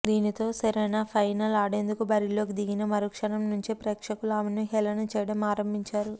దీనితో Serena final ఆడేం దుకు బరిలోకి దిగిన మరుక్షణం నుంచే ప్రేక్ష కులు ఆమెను హేళన చేయడం ఆరంభించారు